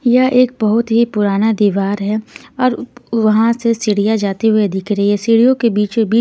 यह एक बहुत ही पुराना दीवार है और वहां से सीढ़ियां जाते हुए दिख रही है सीढ़ियों के बीचो बिच--